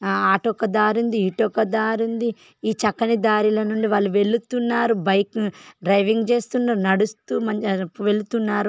ఆ అటొక దారింది ఇటోక దారి ఉంది. ఈ చక్కని దారి నుండి వాళ్ళు వెళ్తున్నారు బైక్ ను డ్రైవింగ్ చేస్తున్నారు. నడుస్తూ మంచి వెళ్తున్నారు.